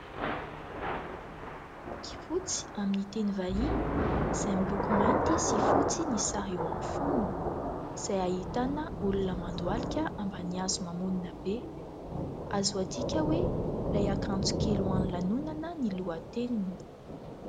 Boky fotsy amin'ny teny vahiny izay miloko mainty sy fotsy ny sary io amin'ny fonony ; izay ahitana olona mandohalika ambany hazo mamonina be azo adika hoe ilay akanjo kely ho an'ny lanonana ny lohateniny.